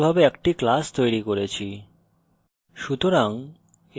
সুতরাং আমরা সফলভাবে একটি class তৈরি করেছি